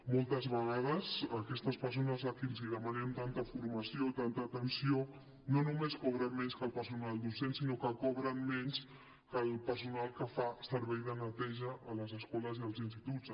moltes vegades aquestes persones a qui els hi demanem tanta formació tanta atenció no només cobren menys que el personal docent sinó que cobren menys que el personal que fa servei de neteja a les escoles i als instituts